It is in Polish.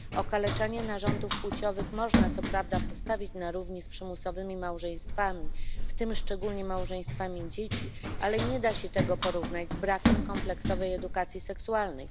Okaleczanie narządów płciowych można co prawda postawić na równi z przymusowymi małżeństwami, w tym szczególnie małżeństwami dzieci, ale nie da się tego porównać z brakiem kompleksowej edukacji seksualnej.